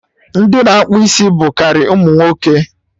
Ndị na-akpụ isi bụ karị ụmụ nwoke